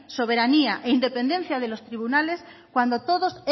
soberanía e independencia de los tribunales cuando todos